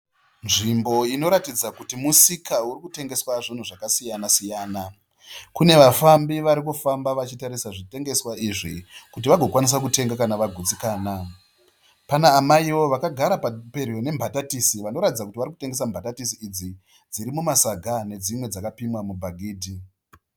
Nzvimbo inoratidzwa kuti musika uri kutengeswa zvinhu zvakasiyana siyana. Kune vafambi vari kufamba vachitarisa zvitengeswa izvi kuti vagokwanisa kutenga kana vagutsikana. Pana amaiwo vakagara pedyo nembatatisi vanoratidza kuti vari kutengesa mbatatisi idzi dziri mumasaga nedzimwe dzakapimwa mubhagidhi.